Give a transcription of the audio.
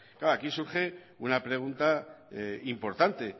claro aquí surge una pregunta importante